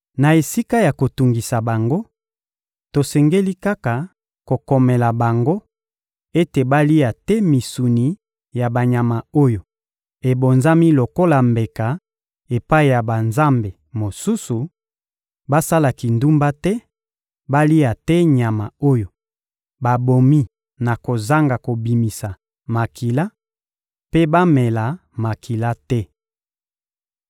Na esika ya kotungisa bango, tosengeli kaka kokomela bango ete balia te misuni ya banyama oyo ebonzami lokola mbeka epai ya banzambe mosusu, basala kindumba te, balia te nyama oyo babomi na kozanga kobimisa makila, mpe bamela makila te.